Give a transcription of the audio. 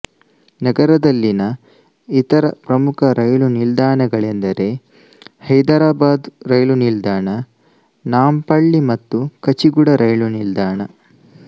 ನಗರದಲ್ಲಿನ ಇತರ ಪ್ರಮುಖ ರೈಲು ನಿಲ್ದಾಣಗಳೆಂದರೆ ಹೈದರಾಬಾದ್ ರೈಲು ನಿಲ್ದಾಣ ನಾಂಪಳ್ಳಿ ಮತ್ತು ಕಚಿಗುಡ ರೈಲು ನಿಲ್ದಾಣ